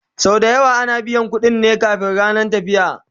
Sau da yawa ana biyan ƙuɗin ne kamin rannan tafiya